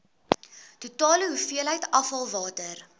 totale hoeveelheid afvalwater